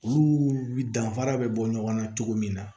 Olu danfara bɛ bɔ ɲɔgɔn na cogo min na